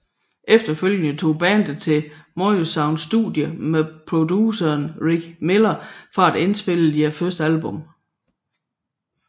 Efterfølgende tog bandet til Morrisound Studio med produceren Rick Miller for at indspille deres første album